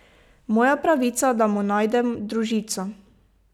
Moja pravica, da mu najdem družico.